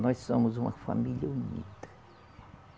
Nós somos uma família unida.